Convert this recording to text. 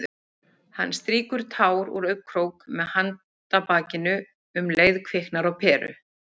Hann strýkur tár úr augnakrók með handarbaki- og um leið kviknar á peru.